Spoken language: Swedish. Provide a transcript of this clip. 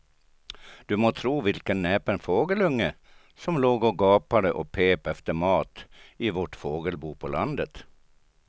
Du må tro vilken näpen fågelunge som låg och gapade och pep efter mat i vårt fågelbo på landet.